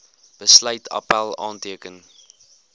besluit appèl aanteken